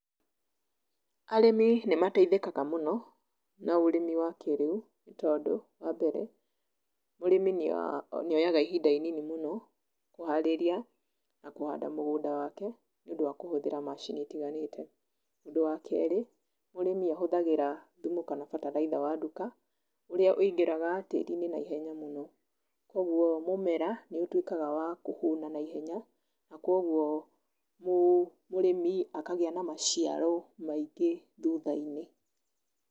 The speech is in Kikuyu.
Arĩmi nĩmateithĩkaga mũno, na ũrĩmi wa kĩĩrĩu, tondũ, wa mbere, mũrĩmi nĩoyaga ihinda inini mũno kũharĩria, na kũhanda mũgũnda wake, nĩũndũ wa kũhũthĩra macini itiganĩte. Ũndũ wa keri, mũrĩmi ahũthagĩra thumu kana bataraitha wa nduka, ũrĩa ũingĩraga tíĩri-inĩ naihenya mũno. Kwoguo mũmera nĩũtũikaga wa kũhũna naihenya, na kwoguo mũrĩmi akagĩa na maciaro maingĩ thutha-inĩ.